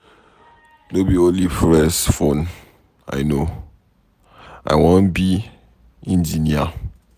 No be only to press phone I no. I wan be engineer.